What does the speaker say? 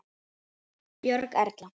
Björg Erla.